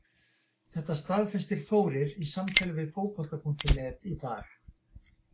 Þetta staðfesti Þórir í samtali við Fótbolta.net í dag.